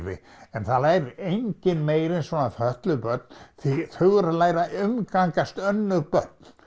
en það lærir enginn meira en svona fötluð börn því þau eru að læra að umgangast önnur börn